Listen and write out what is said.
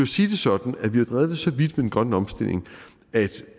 sige det sådan at vi har drevet det så vidt med den grønne omstilling at